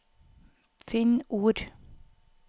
Finn ord